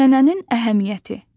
Ənənənin əhəmiyyəti.